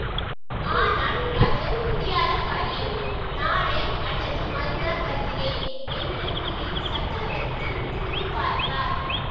ஆனால் அது முடியாத காரியம் நாளை அல்லது மறுநாள் வருகிறேன் என்று கூறிச் சக்கரவர்த்தி திரும்பி பார்த்தார்